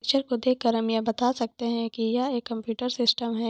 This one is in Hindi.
पिक्चर को देख कर हम ये बता सकते है की यह एक कम्पूटर सिस्टम है।